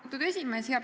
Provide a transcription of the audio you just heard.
Austatud esimees!